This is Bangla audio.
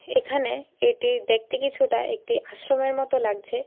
এখানে এটি দেখতে কিছুটা একটি আশ্রমের মতো লাগছে।